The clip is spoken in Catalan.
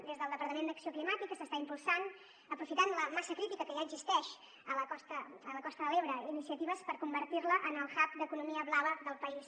des del departament d’acció climàtica s’estan impulsant aprofitant la massa crítica que ja existeix a la costa de l’ebre iniciatives per convertir la en el hubblava del país